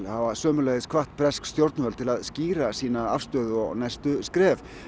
hafa sömuleiðis hvatt bresk stjórnvöld til að skýra sín næstu skref